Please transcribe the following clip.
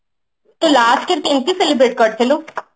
ତୁ last କୁ କେମିତି celebrate କରିଥିଲୁ